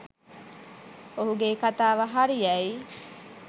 ඔහු ගේ කතාව හරි යැයි